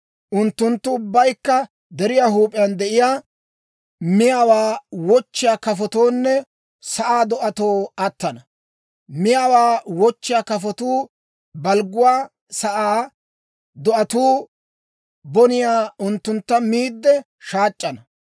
Unttunttu ubbaykka deriyaa huup'iyaan de'iyaa, miyaawaa wochchiyaa kafotoonne sa'aa do'atoo attana; miyaawaa wochchiyaa kafotuu balgguwaa, sa'aa do'atuu boniyaa unttuntta miidde shaac'c'ana.